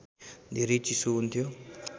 धेरै चिसो हुन्थ्यो